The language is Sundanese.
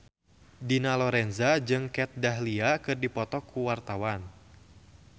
Dina Lorenza jeung Kat Dahlia keur dipoto ku wartawan